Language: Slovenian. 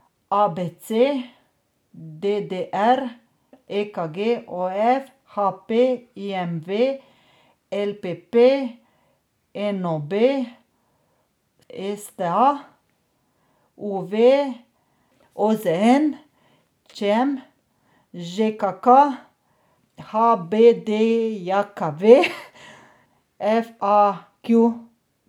A B C; D D R; E K G; O F; H P; I M V; L P P; N O B; S T A; U V; O Z N; Č M; Ž K K; H B D J K V; F A Q.